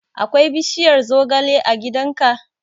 Akwai bishiyar zogale a gidan ka?